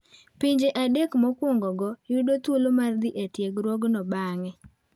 Pinje adek mokwongogo yudo thuolo mar dhi e tiegruokno bang'e.